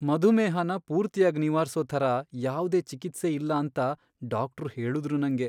ಮಧುಮೇಹನ ಪೂರ್ತಿಯಾಗ್ ನಿವಾರ್ಸೋ ಥರ ಯಾವ್ದೇ ಚಿಕಿತ್ಸೆ ಇಲ್ಲ ಅಂತ ಡಾಕ್ಟ್ರು ಹೇಳುದ್ರು ನಂಗೆ.